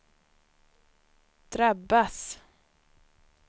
drabbas